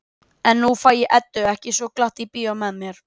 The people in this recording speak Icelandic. En nú fæ ég Eddu ekki svo glatt í bíó með mér.